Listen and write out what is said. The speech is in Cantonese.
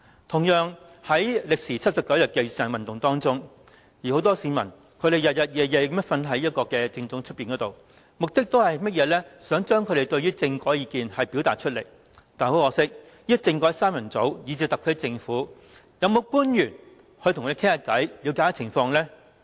同樣，在歷時79天的雨傘運動中，很多市民日以繼夜睡在政總外，目的是要表達他們對政改的意見，但很可惜，"政改三人組"以至特區政府的其他官員，有沒有跟他們談話，以了解情況？